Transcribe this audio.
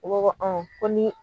U b'a fɔ ko ni